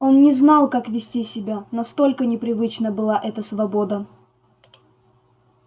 он не знал как вести себя настолько непривычна была эта свобода